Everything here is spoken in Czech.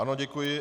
Ano, děkuji.